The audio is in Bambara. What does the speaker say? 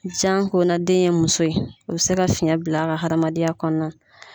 Janko na den ye muso ye u bɛ se ka fiyɛn bila a ka hadamadenya kɔnɔna na.